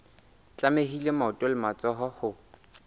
tlamehile maoto le matsoho ho